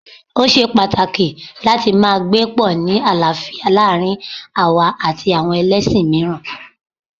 Ó ṣe pàtàkì láti máa gbé pọ̀ ni àlàáfíà láàárín àwa àti àwọn ẹlẹ́ṣin mìíràn